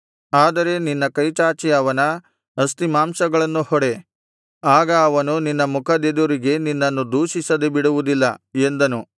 ಆದರೆ ನಿನ್ನ ಕೈಚಾಚಿ ಅವನ ಅಸ್ತಿಮಾಂಸಗಳನ್ನು ಹೊಡೆ ಆಗ ಅವನು ನಿನ್ನ ಮುಖದೆದುರಿಗೆ ನಿನ್ನನ್ನು ದೂಷಿಸದೆ ಬಿಡುವುದಿಲ್ಲ ಎಂದನು